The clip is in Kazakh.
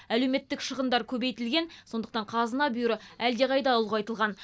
әлеуметтік шығындар көбейтілген сондықтан қазына бүйірі әлдеқайда ұлғайтылған